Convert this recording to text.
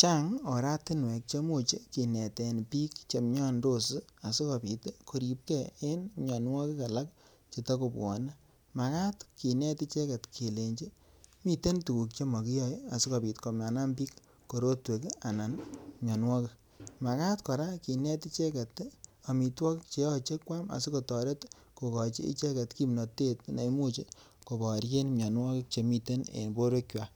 Chang oratinwek che imuch kineten biik che miandos asikobit koripge ne mianwogik alak che togobwone. Magaat kinet icheget kelenji miten tuguk che mogiyoe asikobit komanam biik korotwek anan mianwogik. Magaat kora kinet icheget amitwogik che yoche kwam asikotoret kogochi icheget kimnatet neimuch koboryen mianwogik che miten en borwek kwak.